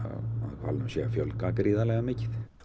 hvalnum sé að fjölga gríðarlega mikið og